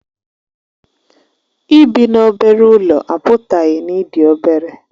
Ịbi n'obere ụlọ apụtaghị na ị dị obere